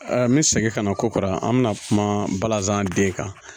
N bɛ segin ka na kokara an bɛna kuma balazan den kan